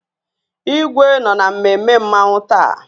Igwe nọ na mmemme Mmanwu taa